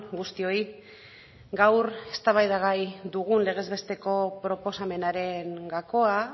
guztioi gaur eztabaida gai dugun legez besteko proposamenaren gakoa